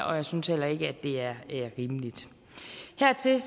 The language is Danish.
og jeg synes heller ikke det er rimeligt hertil